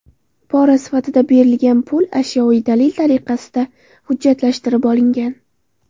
Pora sifatida berilgan pul ashyoviy dalil tariqasida hujjatlashtirib olingan.